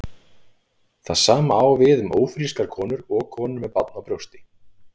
Það sama á við um ófrískar konur og konur með barn á brjósti.